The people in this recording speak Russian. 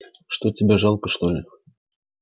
что тебе жалко что ли